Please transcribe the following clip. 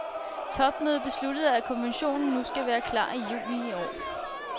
Topmødet besluttede, at konventionen nu skal være klar i juni i år.